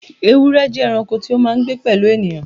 Ewúrẹ́ jẹ́ ẹranko tí ó máa ń gbé pẹ̀lú ènìyàn.